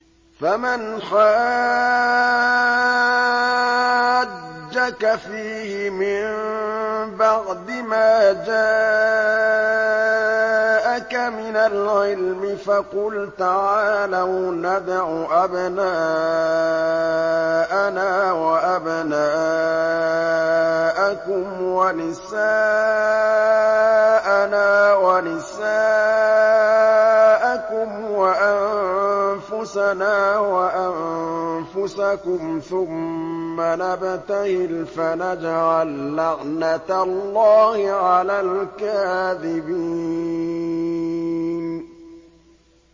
فَمَنْ حَاجَّكَ فِيهِ مِن بَعْدِ مَا جَاءَكَ مِنَ الْعِلْمِ فَقُلْ تَعَالَوْا نَدْعُ أَبْنَاءَنَا وَأَبْنَاءَكُمْ وَنِسَاءَنَا وَنِسَاءَكُمْ وَأَنفُسَنَا وَأَنفُسَكُمْ ثُمَّ نَبْتَهِلْ فَنَجْعَل لَّعْنَتَ اللَّهِ عَلَى الْكَاذِبِينَ